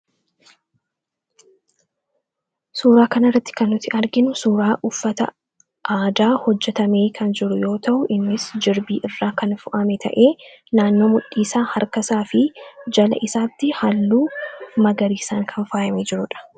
Suuraa kanarratti kan nuti arginu suuraa uffata aadaa hojjatamee kan jiru yoo ta'u innis jirbii irraa kan fo'ame ta'ee naannoo mudhiisaa fi harkasaa jala isaatti halluu magariisaan kan faayamee jirudha.